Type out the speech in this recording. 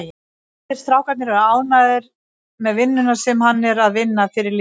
Allir strákarnir eru ánægður með vinnuna sem hann er að vinna fyrir liðið.